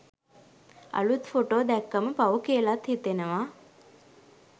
අලුත් ෆොටෝ දැක්කම පව් කියලත් හිතෙනවා